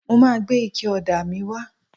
Mo ma gbé ike ọ̀dà míì wá.